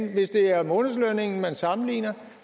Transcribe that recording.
hvis det er månedslønnen man sammenligner